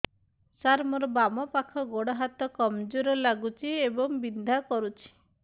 ସାର ମୋର ବାମ ପାଖ ଗୋଡ ହାତ କମଜୁର ଲାଗୁଛି ଏବଂ ବିନ୍ଧା କରୁଛି